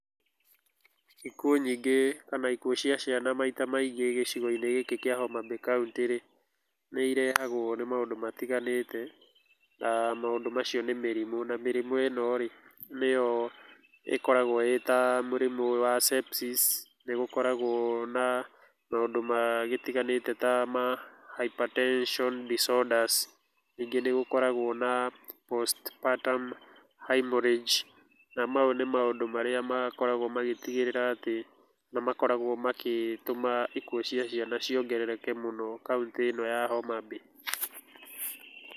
Ikuo nyingĩ kana ikuo cia ciana maita maingĩ gĩcigo-inĩ gĩkĩ kĩa Homa Bay kaũnti rĩ, nĩ irehagwo nĩ maũndũ matiganĩte na maũndũ macio nĩ mĩrimũ, na mĩrimũ ĩno rĩ nĩyo ĩkoragwo ĩta mũrimũ wa Sepsis, nĩgũkoragwo na maũndũ magĩtiganĩte ta Hypertension disorders, ningĩ nĩ gũkoragwo na Postpartum Hemorrhage na mau nĩ maũndũ marĩa makoragwo magĩtigĩrĩra atĩ nĩ makoragwo magĩtũma ikuo cia ciana ciongerereke mũno kaũntĩ ĩno ya Homa Bay.